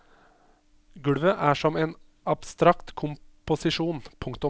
Gulvet er som en abstrakt komposisjon. punktum